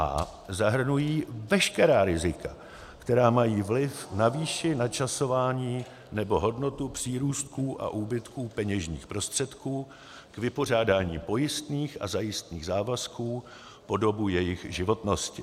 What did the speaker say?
a) zahrnují veškerá rizika, která mají vliv na výši, načasování nebo hodnotu přírůstků a úbytků peněžních prostředků k vypořádání pojistných a zajistných závazků po dobu jejich životnosti.